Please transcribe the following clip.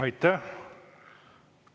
Aitäh!